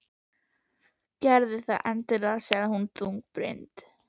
Gerðu það endilega sagði hún þungbrýnd.